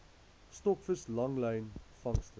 stokvis langlyn vangste